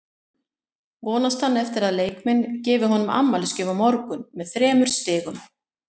Vonast hann eftir að leikmenn gefi honum afmælisgjöf á morgun með þremur stigum?